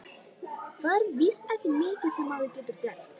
Það er víst ekki mikið sem maður getur gert.